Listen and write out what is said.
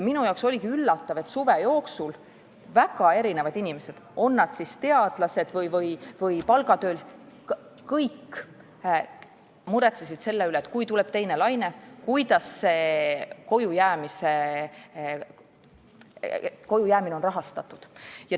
Minu jaoks oli üllatav, et suve jooksul väga erinevad inimesed – on nad siis teadlased või palgatöölised – muretsesid selle pärast, et kui tuleb teine laine, siis kuidas on kojujäämine rahastatud.